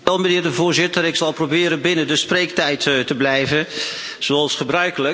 Voorzitter, ik zal proberen binnen de spreektijd te blijven, zoals gebruikelijk.